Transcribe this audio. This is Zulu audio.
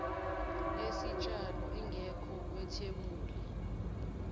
yesitshalo ingekho kwethebuli